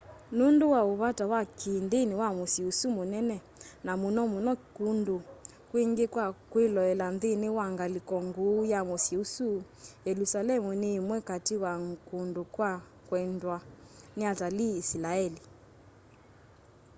nũndũ wa ũ vata wa kĩ ndĩni wa mũsyĩ ũsu mũnene na mũno mũno kũndũ kwingĩ kwa kwĩloela nthĩnĩ wa ngalĩko ngũũ ya mũsyĩ ũsu yelũsalemu nĩ ĩmwe katĩ wa kũndũ kwa kwendwa nĩ atalii ĩsilaeli